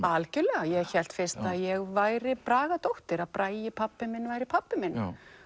algjörlega ég hélt fyrst að ég væri Bragadóttir að Bragi pabbi minn væri pabbi minn